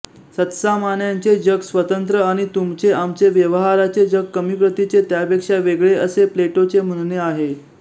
सत्सामान्यांचे जग स्वतंत्र आणि तुमचेआमचे व्यवहाराचे जग कमी प्रतीचे त्यापेक्षा वेगळे असे प्लेटोचे म्हणणे आहे